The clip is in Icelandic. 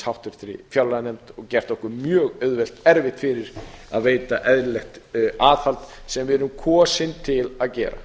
háttvirtri fjárlaganefnd og gert okkur mjög erfitt fyrir að veita eðlilegt aðhald sem við erum kosin til að gera